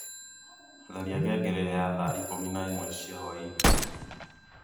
tharia ngengere ya thaa ikũmi na ĩmwe cia hwaĩinĩ